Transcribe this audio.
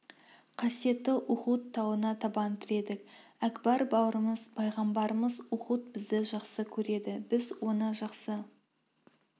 қасиетті ұхуд тауына да табан тіредік әкбар бауырымыз пайғамбарымыз ұхуд бізді жақсы көреді біз оны жақсы